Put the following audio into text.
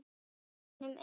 gegnum eyrun.